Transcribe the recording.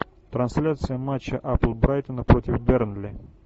трансляция матча апл брайтона против бернли